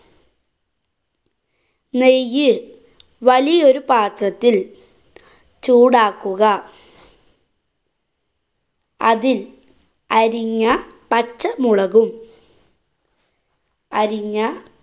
നെയ്യ് വലിയൊരു പാത്രത്തില്‍ ചൂടാക്കുക. അതില്‍ അരിഞ്ഞ പച്ചമുളകും അരിഞ്ഞ